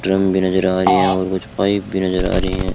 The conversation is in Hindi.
ड्रम भी नजर आ रही है और कुछ पाइप भी नजर आ रही हैं।